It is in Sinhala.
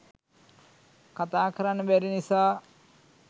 කතා කරන්න බැරි නිසා